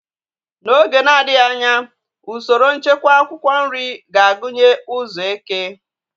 N'oge na-adịghị anya, usoro nchekwa akwụkwọ nri ga-agụnye ụzọ eke.